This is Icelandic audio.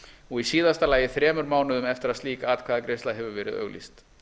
og í síðasta lagi þremur mánuðum eftir að slík atkvæðagreiðsla hefur verið auglýst